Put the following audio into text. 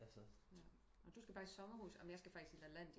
Nå du skal bare i sommerhus jeg kan faktisk i Lalandia